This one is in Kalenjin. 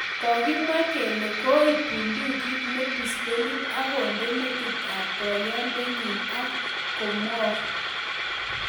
Kokimwa kele koib bundukit ne pistolit , ak kondee metit ab poyondenyin ak komuok